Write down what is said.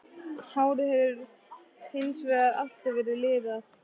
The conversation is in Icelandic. Hárið hefur hins vegar alltaf verið liðað.